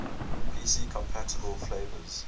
pc compatible flavors